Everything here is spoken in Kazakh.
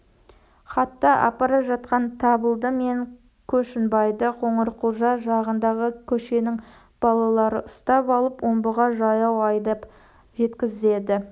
хатты апара жатқан табылды мен көшінбайды қоңырқұлжа жағындағы көшеннің балалары ұстап алып омбыға жаяу айдап жеткізеді